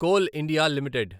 coal India limited